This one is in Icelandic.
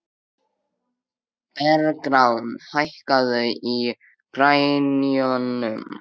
Bergrán, hækkaðu í græjunum.